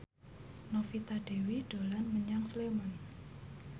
Novita Dewi dolan menyang Sleman